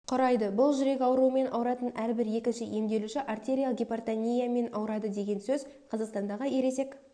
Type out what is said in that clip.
құрайды бұл жүрек ауруымен ауыратын әрбір екінші емделуші артериалық гипертониямен ауырады деген сөз қазақстандағы ересек